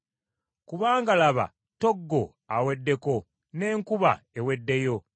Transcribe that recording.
kubanga laba ttoggo aweddeko, n’enkuba eweddeyo.